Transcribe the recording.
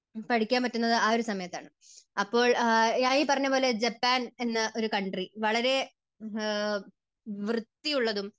പഠിക്കാൻ പറ്റുന്നത് ആ ഒരു സമയത്താണ്. അപ്പോൾ ഈ ആ പറഞ്ഞതുപോലെ ജപ്പാൻ എന്ന ഒരു കൺട്രി. വളരെ വൃത്തിയുള്ളതും